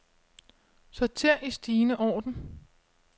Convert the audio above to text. Sorter i stigende orden.